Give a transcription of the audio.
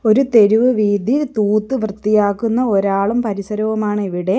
ഒരു തെരുവ് വീഥി തൂത്ത് വൃത്തിയാക്കുന്ന ഒരാളും പരിസരവുമാണ് ഇവിടെ.